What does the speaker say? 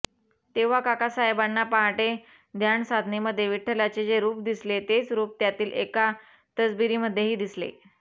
तेव्हा काकासाहेबांना पहाटे ध्यानसाधनेमध्ये विठ्ठलाचे जे रूप दिसले तेच रूप त्यातील एका तसबिरीमध्येही दिसले